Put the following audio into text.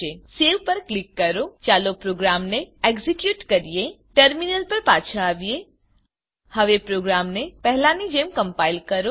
સેવ પર ક્લિક કરો ચાલો પ્રોગ્રામને એક્ઝેક્યુટ કરીએ ટર્મીનલ પર પાછા આવીએ હવે પોગ્રામને પહેલા ની જેમ ક્મ્પાઇલ કરો